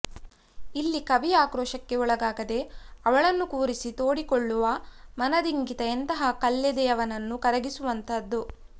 ಇಲ್ಲಿ ಕವಿ ಆಕ್ರೋಶಕ್ಕೆ ಒಳಗಾಗದೆ ಅವಳನ್ನು ಕೂರಿಸಿ ತೋಡಿಕೊಳ್ಳುವ ಮನದಿಂಗಿತ ಎಂತಹ ಕಲ್ಲೆದೆಯವನನ್ನು ಕರಗಿಸುವಂತಹದ್ದು